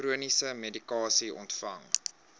chroniese medikasie ontvang